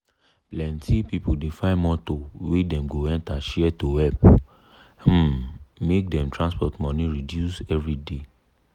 plenti people dey find motor wey dey go enter share to help um make dem transport money reduce everyday.